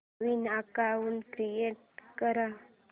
नवीन account create कर